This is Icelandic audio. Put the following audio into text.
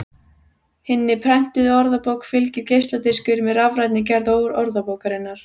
Hinni prentuðu orðabók fylgir geisladiskur með rafrænni gerð orðabókarinnar.